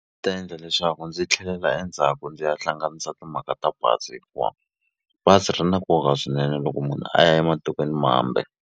ta endla leswaku ndzi tlhelela endzhaku ndzi ya hlanganisa timhaka ta bazi hikuva bazi ri na nkoka swinene loko munhu a ya ematikweni mambe.